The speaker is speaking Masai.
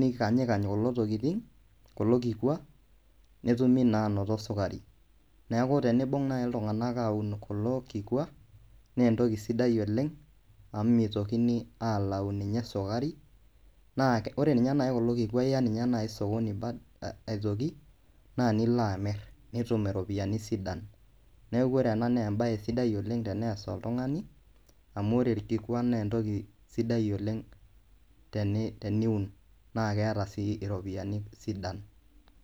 nikanyikany kulo kikwa netumi naa aanoto sukari neeku tenibung'a naai iltung'anak aun kulo kikua naa entoki sidai oleng' amu mitoki alau ninye sukari naa ore ninye naai kulo kikua iya ninye naai sokoni aitoki naa nilo amirr nitum iropiyiani sidan. Neeku ore ena naa embaye sidai oleng' tenees oltung'ani amu ore orkikua naa entoki sidai oleng' teniun naa keeta sii iropiyiani sidan.